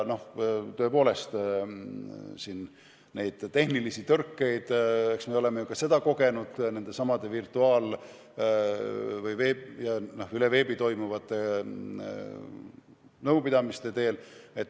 Tõepoolest, tehnilisi tõrkeid me oleme ju kogenud kõigi nende virtuaalnõupidamiste ajal.